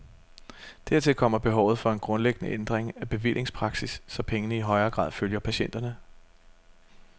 Dertil kommer behovet for en grundlæggende ændring af bevillingspraksis, så pengene i højere grad følger patienterne.